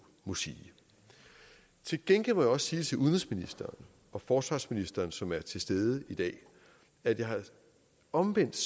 må sige til gengæld må jeg også sige til udenrigsministeren og forsvarsministeren som er til stede i dag at jeg omvendt